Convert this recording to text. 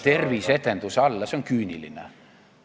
... terviseedenduse alla, see on küüniline.